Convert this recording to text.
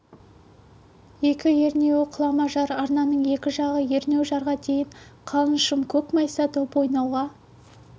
екі ернеуі құлама жар арнаның екі жағы ернеу жарға дейін қалың шым көк майса доп ойнауға